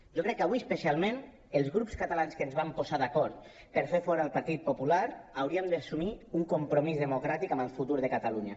jo crec que avui especialment els grups catalans que ens vam posar d’acord per fer fora el partit popular hauríem d’assumir un compromís democràtic amb el futur de catalunya